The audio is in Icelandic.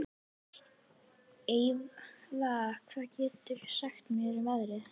Eyva, hvað geturðu sagt mér um veðrið?